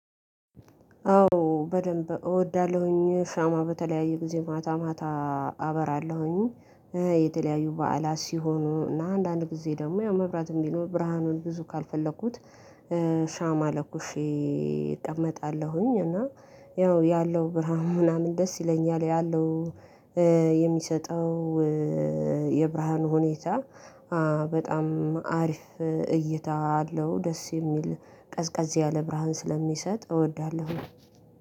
አዎ በደንብ እወዳለሁኝ ሻማ በተለያዩ ጊዜ ማታ ማታ አበራለሁኝ። የተለያዩ በዓላት ሲሆኑ እና አንዳንድ ጊዜ ደግሞ ያው መብራትም ቢኖር ብርሃኑን ብዙ ካልፈለኩት። ሻማ ለኩሼ እቀመጣለሁኝ እና ያው ያለው ብርሃን ምናምን ደስ ይለኛል ያለው የሚሰጠው የብርሃን ሁኔታ በጣም አሪፍ እይታ አለው። ደስ የሚል ቀዝቃዝ ያለ ብርሃን ስለሚሰጥ እወዳለሁ።